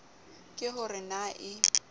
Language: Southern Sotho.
ke ho re na e